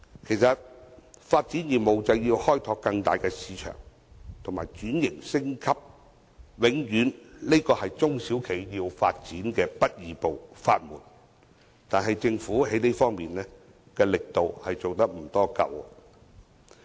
其實發展業務就要開拓更大市場及轉型升級，這永遠是中小企要發展的不二法門，但是，政府在這方面的力度並不足夠。